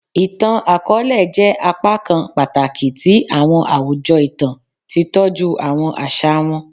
Ìtàn àkọlé jẹ́ á pákan pàtàkì ti àwọn àwùjọ itan, tí tọju àwọn àṣà wọn